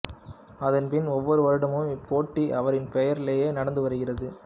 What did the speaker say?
அதன் பின் ஒவ்வொரு வருடமும் இப்போட்டி அவரின் பெயராலே நடந்து வருகிறது